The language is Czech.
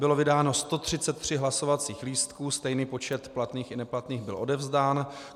Bylo vydáno 133 hlasovacích lístků, stejný počet platných i neplatných byl odevzdán.